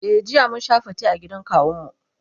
e jiya mun Sha fate a gidan kawun mu.